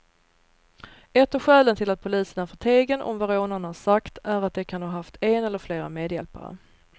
Ett av skälen till att polisen är förtegen om vad rånarna sagt är att de kan ha haft en eller flera medhjälpare.